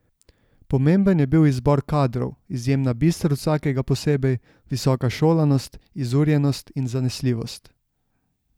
Pomemben je bil izbor kadrov, izjemna bistrost vsakega posebej, visoka šolanost, izurjenost in zanesljivost.